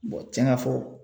cɛn ka fɔ